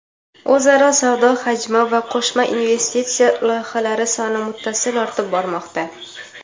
o‘zaro savdo hajmi va qo‘shma investitsiya loyihalari soni muttasil ortib bormoqda.